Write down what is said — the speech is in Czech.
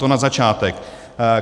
To na začátek.